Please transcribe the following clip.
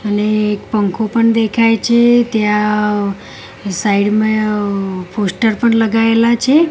અને એક પંખો પણ દેખય છે ત્યા સાઇડ મા પોસ્ટર પણ લગાઇલા છે.